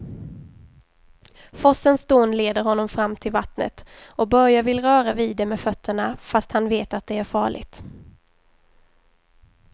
Forsens dån leder honom fram till vattnet och Börje vill röra vid det med fötterna, fast han vet att det är farligt.